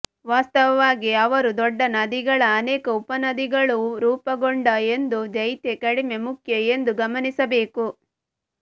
ವಾಸ್ತವವಾಗಿ ಅವರು ದೊಡ್ಡ ನದಿಗಳ ಅನೇಕ ಉಪನದಿಗಳು ರೂಪುಗೊಂಡ ಎಂದು ದೈತ್ಯ ಕಡಿಮೆ ಮುಖ್ಯ ಎಂದು ಗಮನಿಸಬೇಕು